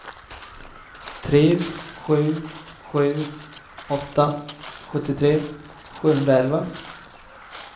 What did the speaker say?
tre sju sju åtta sjuttiotre sjuhundraelva